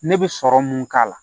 Ne bɛ sɔrɔ mun k'a la